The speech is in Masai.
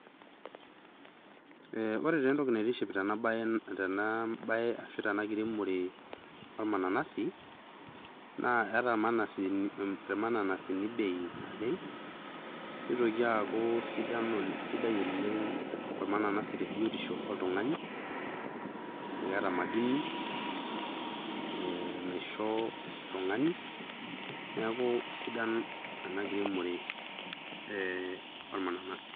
Ore taa etoki naitiship tena bae aashu tena kiremore ormananasi naakeeta mananasi mananasi bei nitoki aku sidai oleng te biotisho oltung'ani eeta madini naisho oltung'ani neaku sidai ena kiremore ormananasi.